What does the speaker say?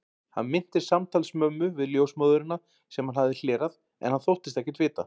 Hann minntist samtals mömmu við ljósmóðurina, sem hann hafði hlerað, en hann þóttist ekkert vita.